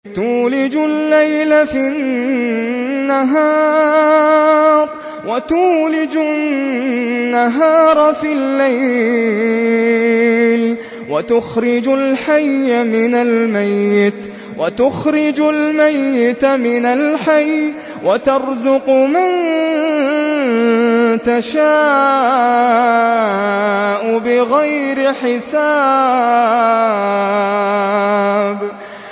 تُولِجُ اللَّيْلَ فِي النَّهَارِ وَتُولِجُ النَّهَارَ فِي اللَّيْلِ ۖ وَتُخْرِجُ الْحَيَّ مِنَ الْمَيِّتِ وَتُخْرِجُ الْمَيِّتَ مِنَ الْحَيِّ ۖ وَتَرْزُقُ مَن تَشَاءُ بِغَيْرِ حِسَابٍ